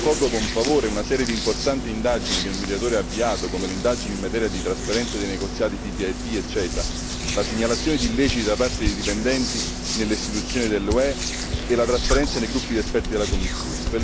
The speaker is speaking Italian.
Accolgo con favore una serie di importanti indagini che il Mediatore ha avviato come l'indagine in materia di trasparenza dei negoziati TTIP e CETA, la segnalazione di illeciti da parte di dipendenti nelle istituzioni dell'UE e la trasparenza nei gruppi di esperti della Commissione.